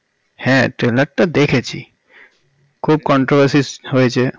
হ্যাঁ trailer টা দেখেছি খুব controversy হয়েছে